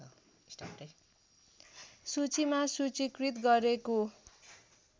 सूचीमा सूचीकृत गरेको